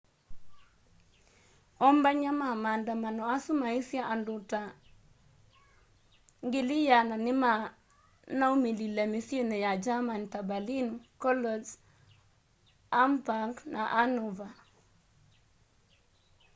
ombany'a ma maandamano asu maisye andu ta 100,000 nimanaumilile misyini ya german ta berlin cologne hamburg na hanover